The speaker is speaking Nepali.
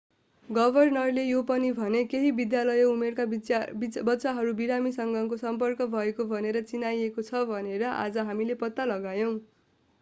गभर्नरले यो पनि भने केही विद्यालय उमेरका बच्चाहरू बिरामीसँगको सम्पर्क भएको भनेर चिनाइएको छ भनेर आज हामीले पत्ता लगायौं